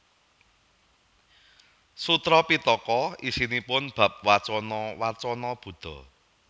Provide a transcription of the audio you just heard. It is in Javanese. Sutra Pittaka isinipun bab wacana wacana Buddha